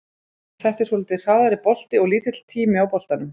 Þetta er svolítið hraðari bolti og lítill tími á boltanum.